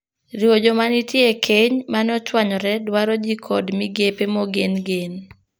Riwo joma nitie e keny mane ochwanyore dwaro jii kod migepe mogen. gen.